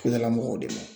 Kudala mɔgɔw de ma